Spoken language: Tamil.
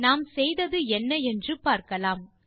நாம் செய்ததென்ன என்று பார்க்கலாம்